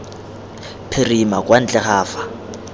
phirima kwa ntle ga fa